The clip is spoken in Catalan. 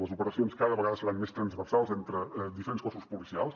les operacions cada vegada seran més transversals entre diferents cossos policials